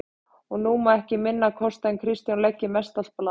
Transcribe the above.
Og nú má ekki minna kosta en Kristján leggi mestallt blað sitt